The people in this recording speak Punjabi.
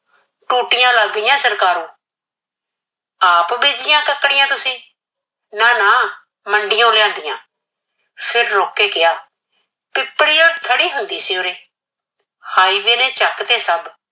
ਟੂਟੀਆਂ ਲਗਦੀਆਂ ਸਰਕਾਰੋਂ ਆਪ ਬੀਜਿਆ ਤਕੜੀਆਂ ਤੁਸੀਂ, ਨਾ ਨਾ ਮੰਡੀਓ ਲਿਆਂਦੀਆਂ। ਫਿਰ ਰੁਕ ਕੇ ਕਿਹਾ, ਪਿਪਲੀ ਉਹ ਥੜੀ ਹੁੰਦੀ ਸੀ ਉਰੇ highway ਨੇ ਚੱਕ ਦੀ ਸਬ।